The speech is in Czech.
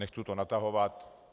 Nechci to natahovat.